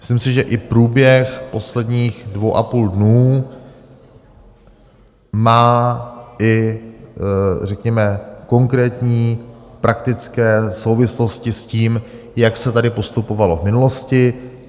Myslím si, že i průběh posledních dvou a půl dne má i řekněme konkrétní, praktické souvislosti s tím, jak se tady postupovalo v minulosti.